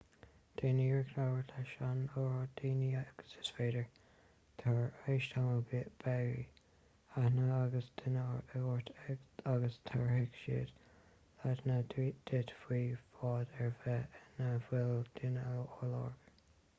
déan iarracht labhairt leis an oiread daoine agus is féidir tar éis tamaill beidh aithne ag gach duine ort agus tabharfaidh siad leideanna duit faoi bhád ar bith ina bhfuil duine á lorg